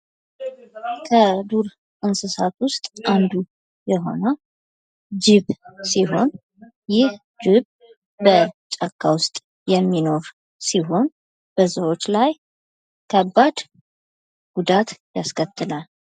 ከዱር እንስሳት ውስጥ አንዱ የሆኑ ጅብ ሲሆን ጅብ በጫካ ውስጥ የሚኖር ሲሆን በሰዎች ላይ ከባድ ጉዳት ያስከትላል።